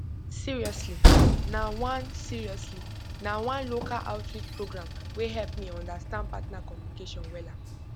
seriously na one seriously na one local outreach program wey help me understand partner communication wella